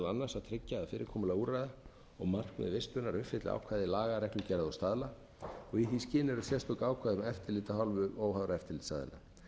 annars að tryggja að fyrirkomulag úrræða og markmið vistunar uppfylli ákvæði laga reglugerða og staðla og í því skyni eru sérstök ákvæði um eftirlit af hálfu óháðra eftirlitsaðila